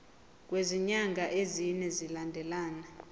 kwezinyanga ezine zilandelana